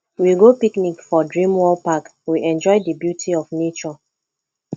we go picnic for dream world park we enjoy di beauty of nature